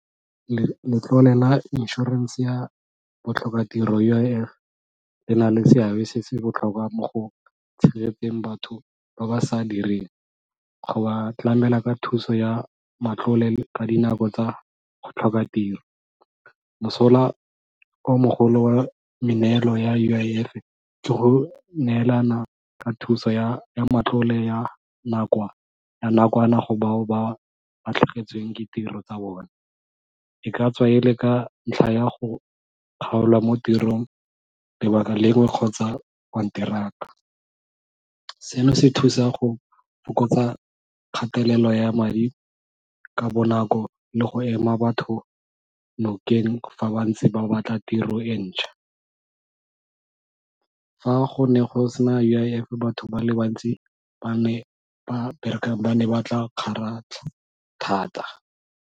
Letlole la insurance ya botlhokatiro U_I_F le na le seabe se se botlhokwa mo go tshegetseng batho ba ba sa direng, go ba tlamela ka thuso ya matlole ka dinako tsa go tlhoka tiro. Mosola o mogolo wa meneelo ya U_I_F ke go neelana ka thuso ya matlole ya nakwana go bao ba latlhagetsweng ke tiro tsa bone, e ka tswa e le ka ntlha ya go kgaolwa mo tirong lebaka kgotsa konteraka. Seno se thusa go fokotsa kgatelelo ya madi ka bonako le go ema batho nokeng fa ba ntse ba go batla tiro e ntšhwa. Fa go ne go se na U_I_F batho ba le bantsi ba ba berekang ba ne ba tla kgaratlha thata.